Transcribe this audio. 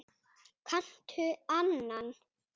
Kanntu annan?